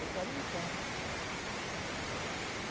Eu falei, vamos.